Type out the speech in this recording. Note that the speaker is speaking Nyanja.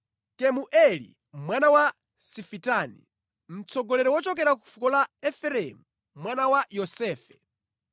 Kemueli mwana wa Sifitani, mtsogoleri wochokera ku fuko la Efereimu, mwana wa Yosefe.